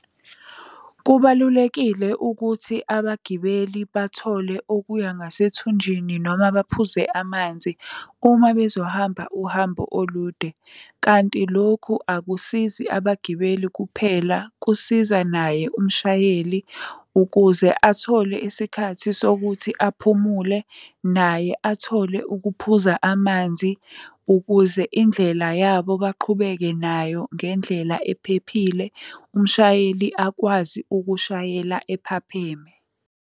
Kubalulekile ukuthi abagibeli bathole okuya ngasethunjini noma baphuze amanzi uma bezohamba uhambo olude. Kanti lokhu akusizi abagibeli kuphela kusiza naye umshayeli, ukuze athole isikhathi sokuthi aphumule naye athole ukuphuza amanzi ukuze indlela yabo baqhubeke nayo ngendlela ephephile, umshayeli akwazi ukushayela ephapheme.